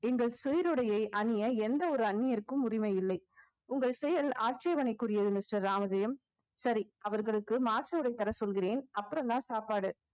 எங்கள் சீருடையை அணிய எந்த ஒரு அந்நியருக்கும் உரிமை இல்லை உங்கள் செயல் ஆட்சேபணைக்குரியது mister ராமஜெயம் சரி அவர்களுக்கு மாற்று உடைதர சொல்கிறேன் அப்புறம்தான் சாப்பாடு